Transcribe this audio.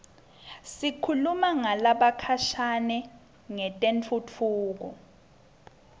sikhuluma nalabakhashane ngetentfutfuko